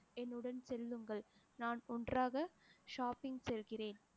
என்னுடன் செல்லுங்கள் நான் ஒன்றாக shopping செல்கிறேன்